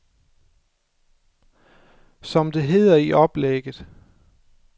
Som det hedder i oplægget.